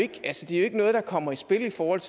ikke noget der kommer i spil i forhold